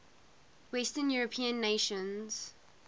western european nations